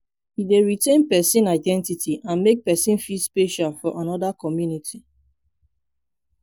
e dey retain pesin identity and make pesin feel special for anoda community.